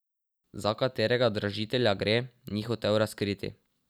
Za katerega dražitelja gre, ni hotel razkriti.